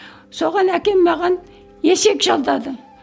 соған әкем маған есек жалдады